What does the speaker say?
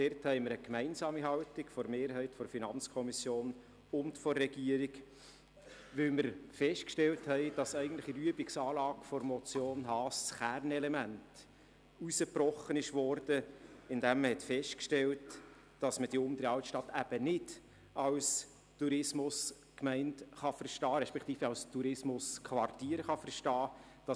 Dort haben wir eine gemeinsame Haltung von der FiKo-Mehrheit und von der Regierung, weil das Kernanliegen der Motion Haas, die Untere Altstadt als Tourismusgemeinde respektive als Tourismusquartier zu verstehen, nicht geltend gemacht werden kann.